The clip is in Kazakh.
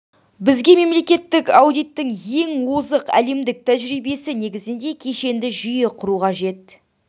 бізге мемлекеттік аудиттің ең озық әлемдік тәжірибесі негізінде кешенді жүйе құру қажет